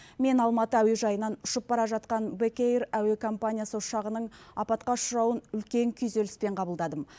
мен алматы әуежайынан ұшып бара жатқан бек эйр әуе компаниясы ұшағының апатқа ұшырауын үлкен күйзеліспен қабылдадым